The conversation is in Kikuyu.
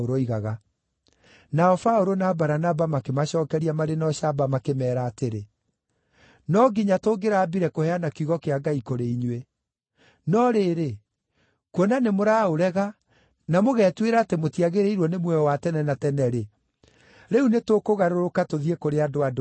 Nao Paũlũ na Baranaba makĩmacookeria marĩ na ũcamba makĩmeera atĩrĩ, “No nginya tũngĩrambire kũheana kiugo kĩa Ngai kũrĩ inyuĩ. No rĩrĩ, kuona nĩmũraũrega na mũgetuĩra atĩ mũtiagĩrĩirwo nĩ muoyo wa tene na tene-rĩ, rĩu nĩtũkũgarũrũka tũthiĩ kũrĩ andũ-a-Ndũrĩrĩ.